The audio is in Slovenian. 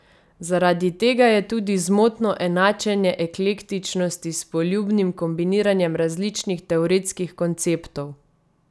Zaradi tega je tudi zmotno enačenje eklektičnosti s poljubnim kombiniranjem različnih teoretskih konceptov.